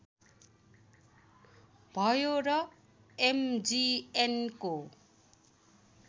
भयो र एमजिएमको